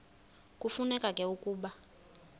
kufuneka ke ukuba